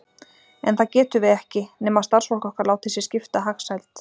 En það getum við ekki, nema starfsfólk okkar láti sig skipta hagsæld